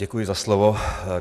Děkuji za slovo.